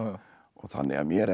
þannig að mér er